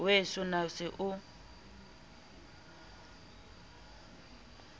weso na o se o